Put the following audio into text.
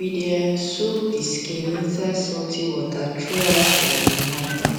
we dey um soak the skin inside salty water throughout um the night um